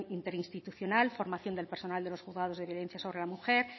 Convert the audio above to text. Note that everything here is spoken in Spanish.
interinstitucional formación del personal de los juzgados de violencia sobre la mujer